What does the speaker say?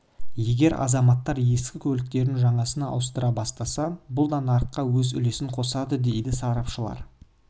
егер азаматтар ескі көліктерін жаңасына ауыстыра бастаса бұл да нарыққа өз үлесін қосады дейді сарапшылар